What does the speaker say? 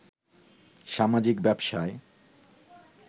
সামাজিক ব্যবসায়